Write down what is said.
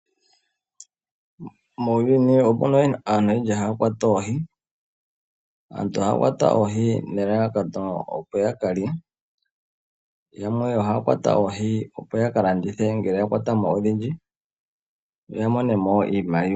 Muuyuni omuna aantu oyendji haya kwata oohi. Aantu ohaya kwata oohi nelalakano opo yakalye. Yamwe ohaya kwata oohi opo yakalandithe ngele yakwata odhindji noya monemo iimaliwa.